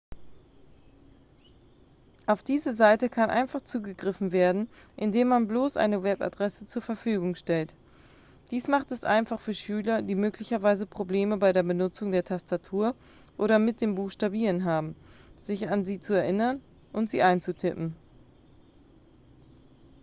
auf diese seite kann einfach zugegriffen werden indem man bloß eine webadresse zur verfügung stellt dies macht es einfach für schüler die möglicherweise probleme bei der benutzung der tastatur oder mit dem buchstabieren haben sich an sie zu erinnern und sie einzutippen